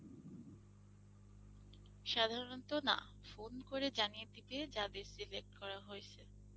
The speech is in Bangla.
সাধারণত না phone করে জানিয়ে দিবে যাদের select করা হয়েছে।